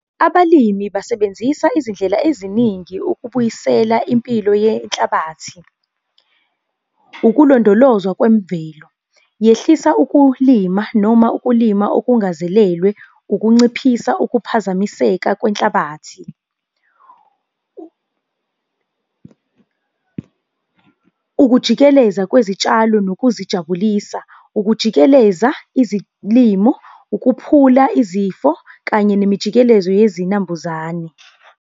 Abalimi basebenzisa izindlela eziningi ukubuyisela impilo yenhlabathi. Ukulondolozwa kwemvelo, yehlisa ukulima noma ukulima okungazelelwe, ukunciphisa ukuphazamiseka kwehlabathi , ukujikeleza kwezitshalo nokuzijabulisa, ukujikeleza izilimo, ukuphula izifo kanye nemijikelezo yezinambuzane.